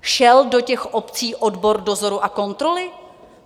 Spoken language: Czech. Šel do těch obcí odbor dozoru a kontroly?